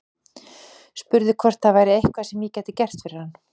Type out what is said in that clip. Spurði hvort það væri eitthvað sem ég gæti gert fyrir hann.